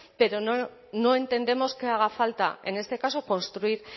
pero no entendemos que haga falta en este caso construir